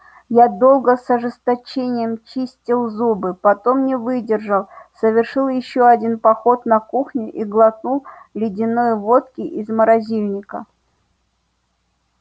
я долго с ожесточением чистил зубы потом не выдержал совершил ещё один поход на кухню и глотнул ледяной водки из морозильника